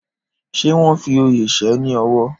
Ṣé wọn fi oyè ṣe ní ọ̀wọ̀?